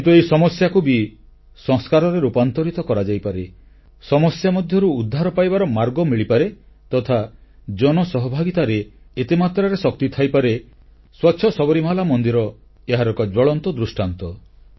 କିନ୍ତୁ ଏହି ସମସ୍ୟାକୁ ବି ସଂସ୍କାରରେ ରୂପାନ୍ତରିତ କରାଯାଇପାରେ ସମସ୍ୟା ମଧ୍ୟରୁ ଉଦ୍ଧାର ପାଇବାର ମାର୍ଗ ମିଳିପାରେ ତଥା ଜନସହଭାଗିତାରେ ଏତେ ମାତ୍ରାରେ ଶକ୍ତି ଥାଇପାରେ ସ୍ୱଚ୍ଛ ସବରୀମାଲା ମନ୍ଦିର ଏହାର ଏକ ଜ୍ୱଳନ୍ତ ଦୃଷ୍ଟାନ୍ତ